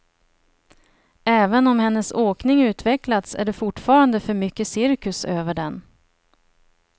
Även om hennes åkning utvecklats är det fortfarande för mycket cirkus över den.